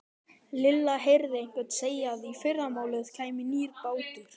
Lilla heyrði einhvern segja að í fyrramálið kæmi nýr bátur.